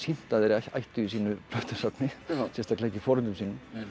að þeir ættu í sínu plötusafni sérstaklega ekki foreldrum sínum